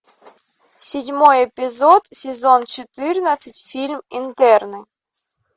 седьмой эпизод сезон четырнадцать фильм интерны